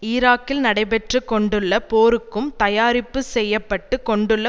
ஈராக்கில் நடைபெற்று கொண்டுள்ள போருக்கும் தயாரிப்பு செய்யப்பட்டு கொண்டுள்ள